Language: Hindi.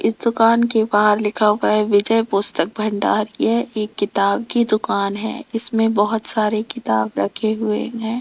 इस दुकान के बाहर लिखा हुआ है विजय पुस्तक भंडार यह एक किताब की दुकान है इसमें बहोत सारे किताब रखे हुए हैं।